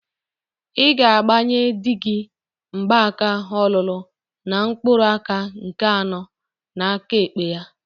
Ị ga-agbanye dị gi mgbaka ọlụlụ na mkpụrụaka nke anọ aka egbe ya!